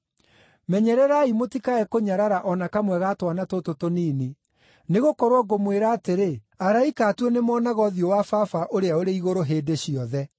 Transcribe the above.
“Menyererai mũtikae kũnyarara o na kamwe ga twana tũtũ tũnini. Nĩgũkorwo ngũmwĩra atĩrĩ, araika a tuo nĩmonaga ũthiũ wa Baba ũrĩa ũrĩ igũrũ, hĩndĩ ciothe.” (